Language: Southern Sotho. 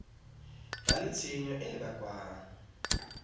ba le tshenyo e bakwang